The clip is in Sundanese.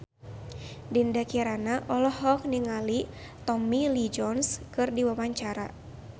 Dinda Kirana olohok ningali Tommy Lee Jones keur diwawancara